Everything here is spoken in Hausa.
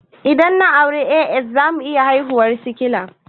Idan na auri AS zamu iya haifar sikila